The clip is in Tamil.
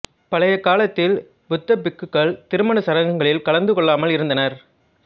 பழைய காலத்தில் புத்தபிக்குகள் திருமணச் சடங்குகளில் கலந்து கொள்ளாமல் இருந்தனர்